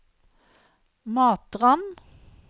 Matrand